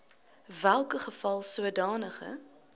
welke geval sodanige